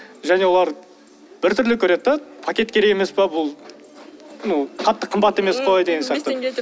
және олар бір түрлі көреді да пакет керек емес пе бұл ну қатты қымбат емес қой деген сияқты он бес теңге деп